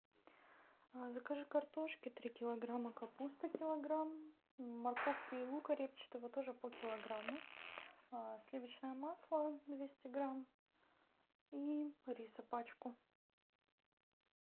закажи картошки три килограмма капусты килограмм морковки и лука репчатого тоже по килограмму сливочное масло двести грамм и риса пачку